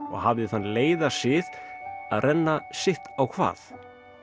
og hafði þann leiða sið að renna sitt á hvað